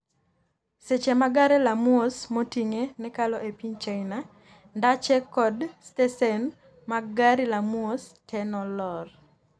seche ma gare la mwos motinge nekalo e piny China, ndache ko stesen mar gari la mwos te nolor